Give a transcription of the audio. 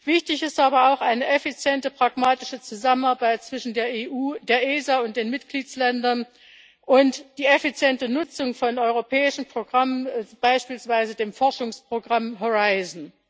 Wichtig sind aber auch eine effiziente, pragmatische Zusammenarbeit zwischen der EU, der ESA und den Mitgliedsländern und die effiziente Nutzung von europäischen Programmen, beispielsweise dem Forschungsprogramm Horizon